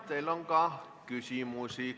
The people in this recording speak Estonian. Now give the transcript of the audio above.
Teile on ka küsimusi.